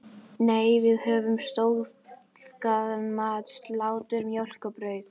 Nei, við höfðum staðgóðan mat: Slátur, mjólk og brauð.